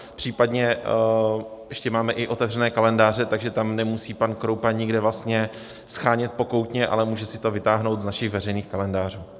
Případně ještě máme i otevřené kalendáře, takže tam nemusí pan Kroupa nikde vlastně shánět pokoutně, ale může si to vytáhnout z našich veřejných kalendářů.